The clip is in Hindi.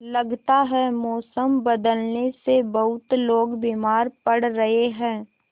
लगता है मौसम बदलने से बहुत लोग बीमार पड़ रहे हैं